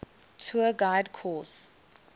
tour guide course